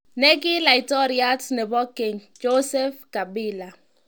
Ne ki Laitoriat nebo Keny, Joseph Kabila.